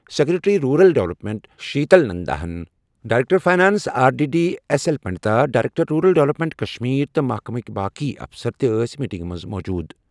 Secretary rural development Sheetal Nanda, director finance R D D S L Pandita, director rural development Kashmir تہٕ محکمٕکۍ باقی افسر ٲسۍ میٹنگہِ منٛز موجود۔